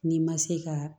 N'i ma se ka